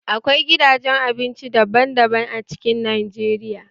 Akwai gidajen abinci daban daban a cikin Najeriya